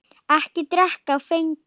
Ekki drekka áfengi.